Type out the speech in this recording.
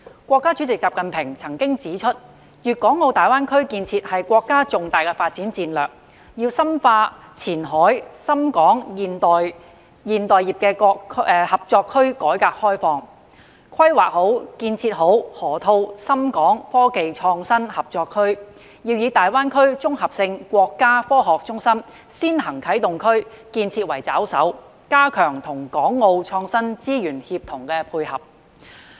國家主席習近平指出，粵港澳大灣區建設是國家重大發展戰略，要深化前海深港現代服務業合作區改革開放，規劃建設好河套深港科技創新合作區，要以大灣區綜合性國家科學中心先行啟動區建設為抓手，加強與港澳創新資源協同配合。